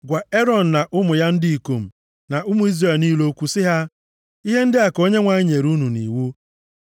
“Gwa Erọn, na ụmụ ya ndị ikom, na ụmụ Izrel niile okwu sị ha, ‘Ihe ndị a ka Onyenwe anyị nyere nʼiwu.